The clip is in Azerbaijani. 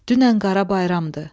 Dünən Qara Bayramdır.